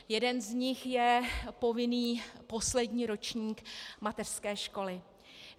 Jeden z nich je povinný poslední ročník mateřské školy.